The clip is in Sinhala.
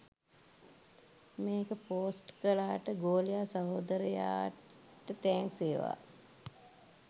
මේක පෝස්ට් කලාට ගෝලයා සහෝදරයට තෑන්ක්ස් වේවා.